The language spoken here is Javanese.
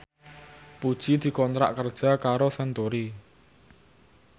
Puji dikontrak kerja karo Century